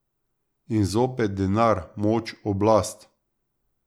In zopet denar, moč, oblast.